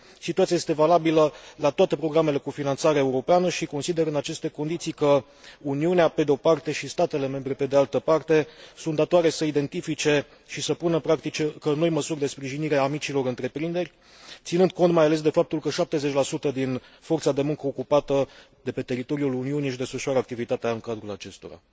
Situația este valabilă la toate programele cu finanțare europeană și consider, în aceste condiții, că Uniunea, pe de o parte, și statele membre pe de altă parte, sunt datoare să identifice și să pună în practică noi măsuri de sprijinire a micilor întreprinderi, ținând cont mai ales de faptul că 70 din forța de muncă ocupată de pe teritoriul Uniunii își desfășoară activitatea în cadrul acestora.